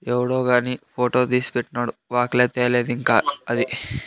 ఎవడో గాని ఫోటో తీసి పెట్టినొడు వాకులే తేలేదు ఇంకా అది --